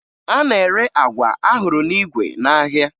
A na-ere agwa ahụrụ n'igwe n'ahịa